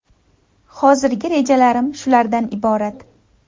Hozirgi rejalarim shulardan iborat.